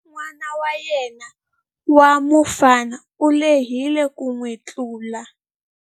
N'wana wa yena wa mufana u lehile ku n'wi tlula.